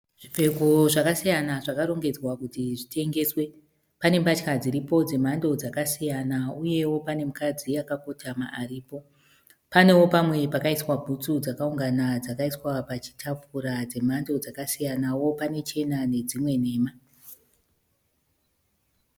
Zvipfeko zvakasiyana zvakarongedzwa kuti zvitengeswe. Pane mbatya dziripo dzemhando dzakasiyana uyewo pane mukadzi akakotama aripo. Panewo pamwe pakaiswa bhutsu dzakaungana dzakaiswa pachitafura dzemhando dzakasiyanawo . Pane chena nedzimwe nhema.